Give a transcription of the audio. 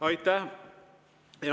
Aitäh!